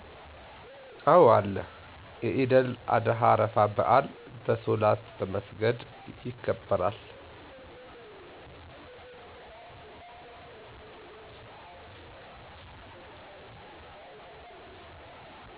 አዎ አለ የኢደል አደሀ አረፋ በዐል በሶላት በመሰገድ የከበራል